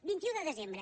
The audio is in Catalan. vint un de desembre